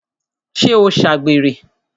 ṣé ó ṣàgbèrè?